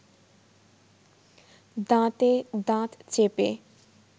দাঁতে দাঁত চেপে